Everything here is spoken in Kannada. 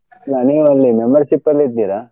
ನೀವೆಲ್ಲಿ membership ಅಲ್ ಇದ್ದೀರಾ?